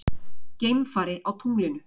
Geimfari á tunglinu.